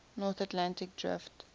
north atlantic drift